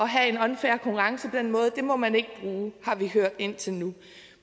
have en unfair konkurrence må man ikke har vi hørt indtil nu